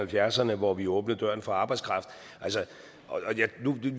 halvfjerdserne hvor vi åbnede døren for arbejdskraft